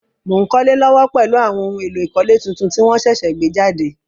Mo n kólé lówó pèlu àwon oun éló ìkólé tuntun ti won sẹ̀sẹ̀ gbé jàde